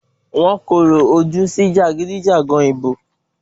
Wọ́n kòrò ojú sí jàgídíjàgan ìbò.